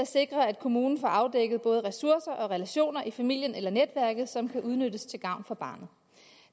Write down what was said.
sikre at kommunen får afdækket både ressourcer og relationer i familien eller netværket som kan udnyttes til gavn for barnet